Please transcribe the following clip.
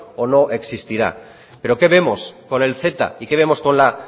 o no existirá pero qué vemos con el ceta y qué vemos con la